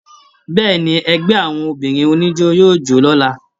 Bẹ́ẹ̀ni, ẹgbẹ àwọn obìnrin oníjó yóò jo l'ọla.